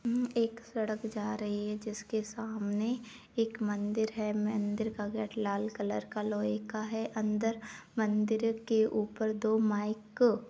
अम एक सड़क जा रही है जिसके सामने एक मंदिर है मंदिर का गेट लाल कलर का लोहे का है अंदर मंदिर के ऊपर दो माइक --